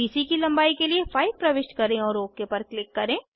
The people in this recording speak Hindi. बीसी की लंबाई के लिए 5 प्रविष्ट करें और ओक पर क्लिक करें